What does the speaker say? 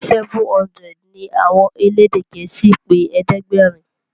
seven hundred ní àwọn elédè gèésì pé ẹ̀ẹ́dẹ̀gbẹ̀rin.